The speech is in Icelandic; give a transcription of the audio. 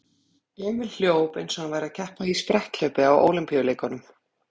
Emil hljóp eins og hann væri að keppa í spretthlaupi á Ólympíuleikunum.